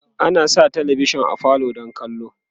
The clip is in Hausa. ana Sa talavishan a falo don kallo